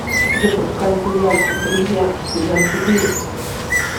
запускай сериальчик друзья сезон четыре